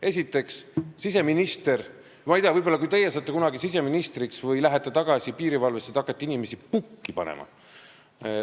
Esiteks, ma ei tea, võib-olla siis, kui teie saate kunagi siseministriks või lähete tagasi piirivalvesse, te hakkategi inimesi pukki panema.